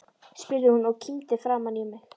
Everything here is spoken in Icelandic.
spurði hún og kímdi framan í mig.